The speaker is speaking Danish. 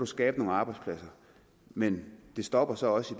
skabe nogle arbejdspladser men det stopper så også